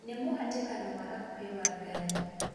nĩ mũhatĩkano wa hakũhi wa ngari